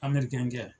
kɛ